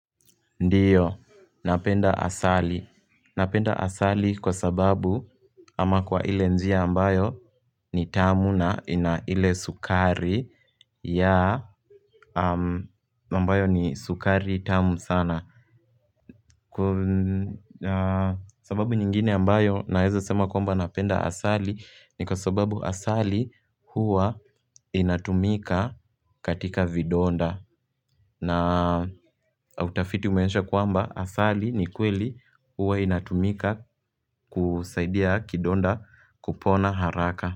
Ndiyo, napenda asali Napenda asali kwa sababu ama kwa ile njia ambayo ni tamu na ina ile sukari ya, ambayo ni sukari tamu sana Kwa sababu nyingine ambayo naeza sema kwamba napenda asali ni kwa sababu asali huwa inatumika katika vidonda na utafiti umeonesha kwamba asali ni kweli huwa inatumika kusaidia kidonda kupona haraka.